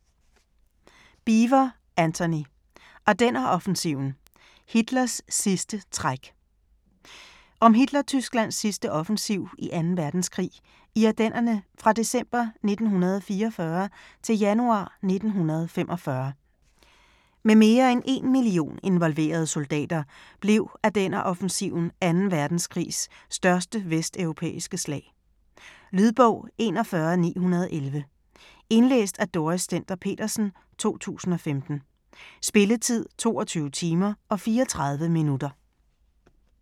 Beevor, Antony: Ardenneroffensiven: Hitlers sidste træk Om Hitler-Tysklands sidste offensiv i 2. verdenskrig, i Ardennerne fra december 1944 til januar 1945. Med mere end 1 million involverede soldater blev Ardenneroffensiven 2. verdenskrigs største vesteuropæiske slag. Lydbog 41911 Indlæst af Dorrit Stender-Petersen, 2015. Spilletid: 22 timer, 34 minutter.